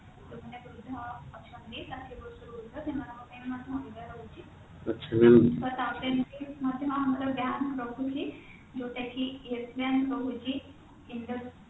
କୋଉଠି ନା କୋଉଠି ଅଛନ୍ତି ଷାଠିଏ ବର୍ଷ ରୁ ଉର୍ଦ୍ଧ ସେମାନଙ୍କ ପାଇଁ ମଧ୍ୟ ରହୁଛି ତାର ରହୁଛି ଯୋଉଟା କିyes bank ରହୁଛି